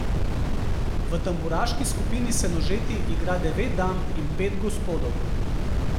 V Tamburaški skupini Senožeti igra devet dam in pet gospodov.